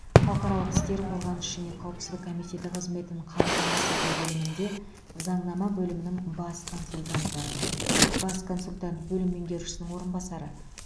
халықаралық істер қорғаныш және қауіпсіздік комитеті қызметін қамтамасыз ету бөлімінде заңнама бөлімінің бас консультанты бас консультант бөлім меңгерушісінің орынбасары